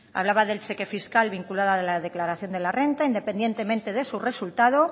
hablaba del cheque fiscal vinculado a la declaración de la renta independientemente de su resultado